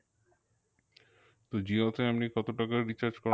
তো জিওতে আপনি কত টাকার recharge